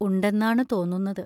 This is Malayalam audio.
ഉണ്ടെന്നാണു തോന്നുന്നത്.